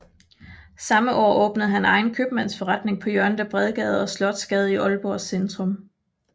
Samme år åbnede han egen købmandsforretning på hjørnet af Bredegade og Slotsgade i Aalborgs centrum